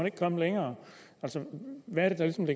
ikke komme længere hvad